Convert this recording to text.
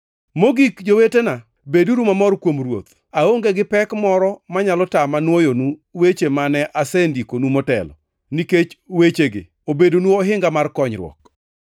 Mogik jowetena, beduru mamor kuom Ruoth! Aonge gi pek moro manyalo tama nwoyonu weche mane asendikonu motelo, nikech wechegi obedonu ohinga mar konyruok.